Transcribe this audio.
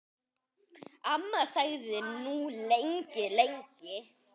Amma þagði nú lengi, lengi.